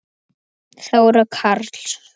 Þóra Karls.